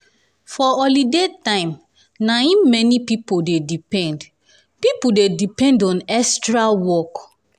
for holiday time na im many pipo dey depend pipo dey depend on extra work.